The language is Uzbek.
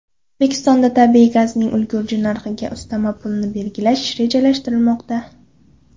O‘zbekistonda tabiiy gazning ulgurji narxiga ustama pulini belgilash rejalashtirilmoqda.